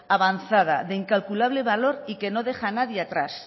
avanzada de incalculable valor y que no deja a nadie atrás